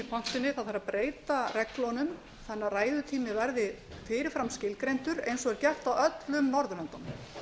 pontunni það þarf að breyta reglunum þannig að ræðutími verði fyrir fram skilgreindur eins og er gert á öllum norðurlöndunum